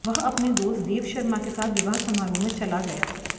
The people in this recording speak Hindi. वह अपने दोस्त देव शर्मा के साथ विवाह समारोह में चला गया